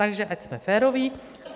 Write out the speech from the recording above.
Takže ať jsme féroví.